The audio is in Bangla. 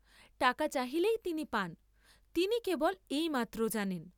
টাকা চাহিলেই তিনি পান, তিনি কেবল এই মাত্র জানেন।